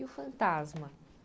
E o fantasma?